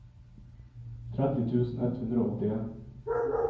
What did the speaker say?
tretti tusen ett hundre og åttien